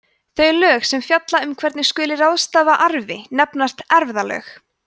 þau lög sem fjalla um hvernig skuli ráðstafa arfi nefnast erfðalög